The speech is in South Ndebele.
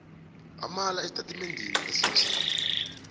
amala esitatimendeni esinje